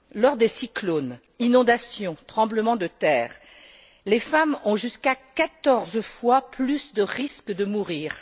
Lors des cyclones, inondations, tremblements de terre, les femmes ont jusqu'à 14 fois plus de risques de mourir.